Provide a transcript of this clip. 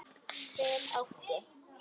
Hver átti?